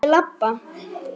Ég labba.